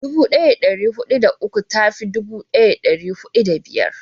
dubu daya da dari hudu da uku ta fi dubu daya da dari hudu da biyu